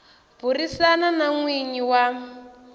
burisana na n winyi wa